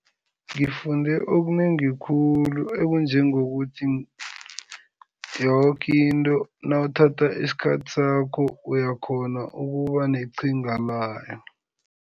Ngifunde okunengi khulu ekunjengokuthi yoke into nawuthatha isikhathi sakho uyakghona ukuba neqhinga layo.